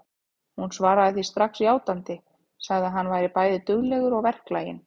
Hún svaraði því strax játandi, sagði að hann væri bæði duglegur og verklaginn.